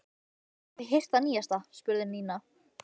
Hafið þið heyrt það nýjasta? spurði Nína.